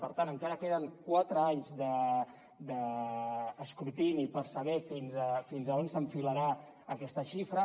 per tant encara queden quatre anys d’escrutini per saber fins a on s’enfilarà aquesta xifra